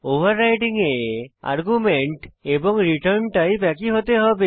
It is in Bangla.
ওভাররাইডিং এ আর্গুমেন্ট এবং রিটার্ন টাইপ একই হতে হবে